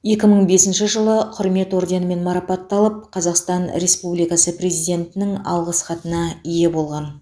екі мың бесінші жылы құрмет орденімен марапатталып қазақстан республикасы президентінің алғысхатына ие болған